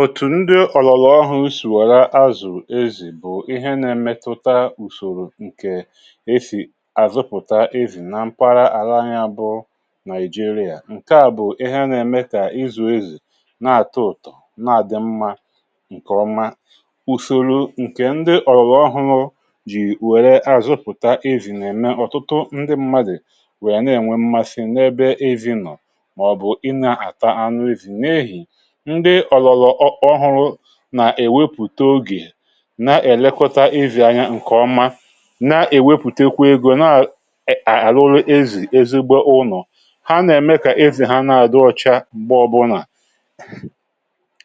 òtù ndị ọ̀lọ̀lọ̀ ọhụ̇ sùrù ọla azụ̀ ezì bụ̀ ihe nà-emetụta ùsòrò ǹkè ezì àzụpụ̀ta ezì na mkpara àla anya bụ̇ nàịjirịa ǹke à bụ̀ ihe nà-eme kà ịzụ̇ ezì na-àtọ ụ̀tọ na-àdị mmȧ ǹkè ọma ùsòrò ǹkè ndị ọ̀lọ̀lọ̀ ọhụrụ̇ jì wère àzụpụ̀ta ezì nà-ème ọ̀tụtụ ndị mmadụ̀ wèe na-ènwe mmasị n’ebe ezinọ̀ màọ̀bụ̀ ị nà-àta anụ ezì̇ nà-èwepụ̀ta ogè na-èlekọta evì̇ anya ǹkọ̀ mma nà-èwepùtekwe egȯ na à..à ruru ezì ezigbo ụnọ̀ ha nà-ème kà ezì ha na-adọọ̇chà m̀gbe ọbụlà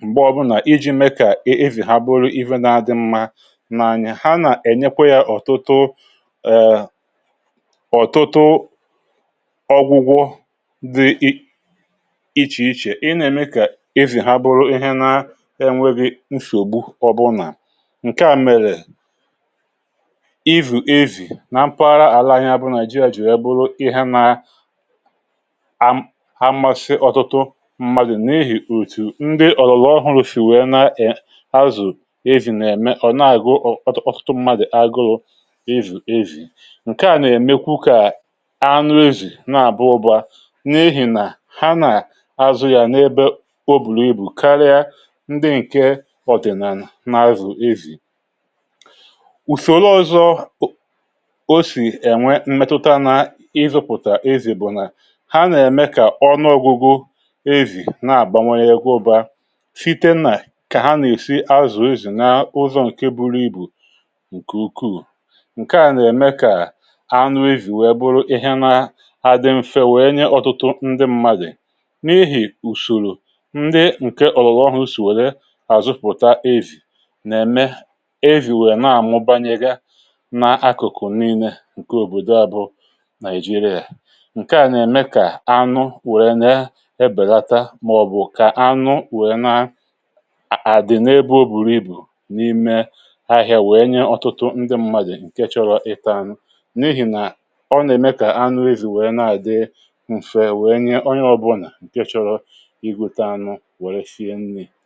m̀gbe ọbụlà iji̇ me kà evì ha bụ̀ ụlụ̀ ive na-adị mma nà-anya hȧ nà-ènyekwa yȧ ọ̀tụtụ ọ̀tụtụ ọgwụgwụ dị ị ịchìịchè enwebe nshì ògbu ọbụnà ǹke à mèrè avì na mpụgharà àla anya bụ nàị̀jịà jì ya bụrụ ihe na a mmasị ọ̀tụtụ mmadụ̀ na-ehì òtù ndị ọ̀lụ̀lụ̀ ọhụrụ̇ shì wèe na-azụ̀ avì na-eme ọ̀ na-àgụ ọtụtụ mmadụ̀ àgụrụ avì ǹke à nà-ème kwụ kà anrizi na-àbụ ụbà na-ehi nà ha nà azụ̀ yà n’ebe ọ̀dị̀nànà n’azụ̀ ezì ùsòro ọzọ osì ènwe m̀metụta nà ịzụ̇pụ̀tà ezì bụ̀ nà ha nà-ème kà ọ̀nụọ̇gwụgwụ ezì na-àbawanye gụọba site nnà kà ha nà-èsi azụ̀ ezì na ụzọ ǹke buru ibù ǹkè ukwuù ǹke à nà-ème kà ànụ ezì wee bụrụ ịhẹnà ha dị mfẹ wẹẹ nye ọ̀tụtụ ndị mmadụ̀ n’ihì ùsòrò àzụpụ̀ta avì nà-ème evì nwèrè na-àmụ banyere na akụ̀kụ̀ niilė ǹke òbòdò abụ̇ nigeria ǹke à nà-ème kà anụ wèrè na-ebèlata màọ̀bụ̀ kà anụ wèe na-àdị̀ n’ebe o bùrù ibù n’ime ahị̇ȧ wèe nye ọ̀tụtụ ndị mmadụ̀ ǹke chọrọ ịtȧnụ n’ihì nà ọ nà-ème kà anụ evì nwèrè na-àdị m̀fè wèe nye onye ọbụlà ǹke chọrọ fèrè àká yá à ká yá à bụ̀ ọ́rụ̀